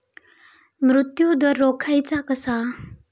मृत्यूदर रोखायचा कसा?